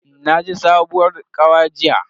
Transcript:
Nayi sabuwar kawa jiya.